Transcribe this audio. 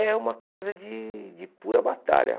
É uma coisa de de pura batalha.